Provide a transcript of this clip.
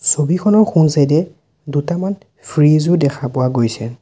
ছবিখনৰ সোঁ চাইড এ দুটামান ফ্ৰীজ ও দেখা পোৱা গৈছে।